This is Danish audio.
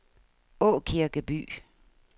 Aakirkeby